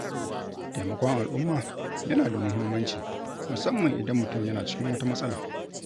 Taimakon al’umma yana da muhimmanci, musamman idan mutum yana cikin wata matsala.